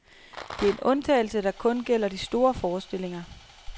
Det er en undtagelse, der kun gælder de store forestillinger.